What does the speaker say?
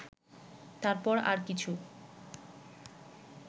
তারপর আর কিছু